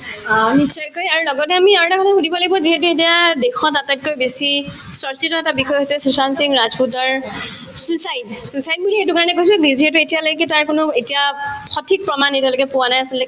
অ, নিশ্চয়কৈ আৰু লগতে আমি আৰু এটা কথা সুধিব লাগিব যিহেতু এতিয়া দেশত আটাইতকৈ বেছি চৰ্চিত এটা বিষয় হৈছে সুশান্ত সিং ৰাজপুতৰ suicide suicide বুলি এইটোকাৰণে কৈছো যিহেতু এতিয়ালৈকে তাৰ কোনো এতিয়া সঠিক প্ৰমাণ এতিয়ালৈকে পোৱা নাই আচলতে